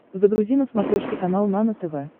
загрузи на смотрешке канал нано тв